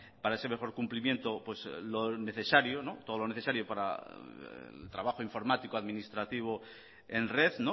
para ese mejor cumplimiento lo necesario todo lo necesario para el trabajo informático administrativo en red